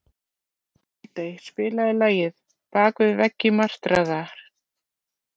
Aldey, spilaðu lagið „Bak við veggi martraðar“.